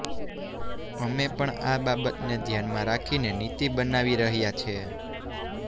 અમે પણ આ બાબતને ધ્યાનમાં રાખીને નીતિ બનાવી રહ્યા છે